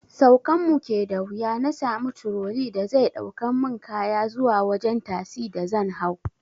Saukan mu ke da wuya na sami turoli da zai ɗaukan mu kaya zuwa wajen tasi da zan hau